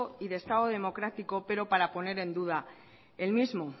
y de estado democrático pero para poner en duda el mismo